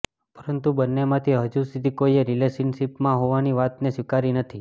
પરંતુ બંનેમાંથી હજુ સુધી કોઈએ રિલેશનશિપમાં હોવાની વાતને સ્વીકારી નથી